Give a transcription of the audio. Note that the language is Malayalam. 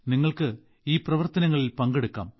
നിങ്ങൾക്ക് ഈ പ്രവർത്തനങ്ങളിൽ പങ്കെടുക്കാം